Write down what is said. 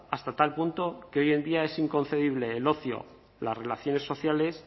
hasta tal punto que hoy en día es inconcebible el ocio las relaciones sociales